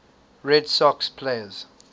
red sox players